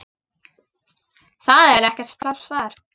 Það er ekkert pláss þar.